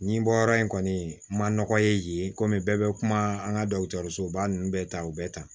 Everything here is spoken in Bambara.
Nin bɔ yɔrɔ in kɔni ma nɔgɔ ye yen kɔmi bɛɛ bɛ kuma an ka dɔgɔtɔrɔsoba ninnu bɛɛ ta u bɛ taa